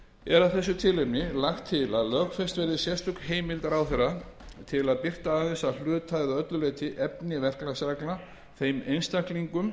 að þessu tilefni lagt til að lögfest verði sérstök heimild ráðherra til að birta aðeins að hluta eða öllu leyti efni verklagsreglna þeim einstaklingum